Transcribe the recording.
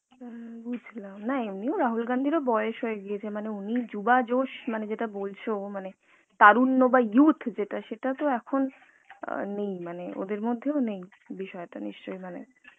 হম বুজলাম না এমনিও রাহুল গান্ধীর ও বয়েস হয়ে গিয়েছে মানে উনি মানে যুভা josh যেটা বলছো মানে তারুণ্য বা youth যেটা সেটা তো এখন আ নেই মানে ওদের মধ্যেও নেই বিষয়টা নিশ্চই মানে